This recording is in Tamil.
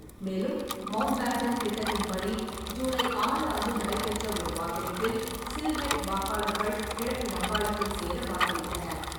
மேலும் மவுண்ட்பேட்டன் திட்டத்தின்படி, ஜூலை ஆறு அன்று நடைபெற்ற ஒரு வாக்கெடுப்பில் சில்ஹெட் வாக்காளர்கள் கிழக்கு வங்காளத்தில் சேர வாக்களித்தனர்.